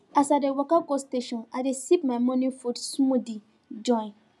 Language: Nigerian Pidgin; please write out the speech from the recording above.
as i dey waka go station i dey sip my morning food smoothie join